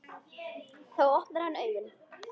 Þá opnar hann augun.